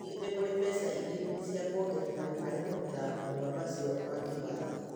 Hihi nĩ kũrĩ mbeca ingĩ cia kwongerera harĩ kũruta marũa macio wakĩwatho?